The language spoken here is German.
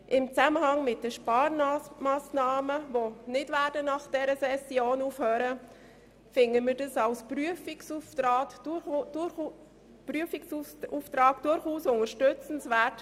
Im Zusammenhang mit den Sparmassnahmen, die nach dieser Session nicht aufhören werden, finden wir diesen Vorstoss als Prüfungsauftrag durchaus unterstützenswert.